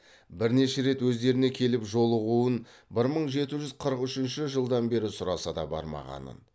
бірнеше рет өздеріне келіп жолығуын бір мың жеті жүз қырық үшінші жылдан бері сұраса да бармағанын